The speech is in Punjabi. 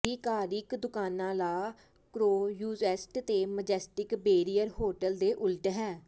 ਆਧਿਕਾਰਿਕ ਦੁਕਾਨਾ ਲਾ ਕ੍ਰੋਯੂਸੈਟ ਤੇ ਮਜੈਸਟਿਕ ਬੈਰੀਏਅਰ ਹੋਟਲ ਦੇ ਉਲਟ ਹੈ